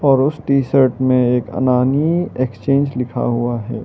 और उस T shirt में एक अनानी एक्सचेंज लिखा हुआ है।